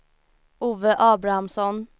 Ove Abrahamsson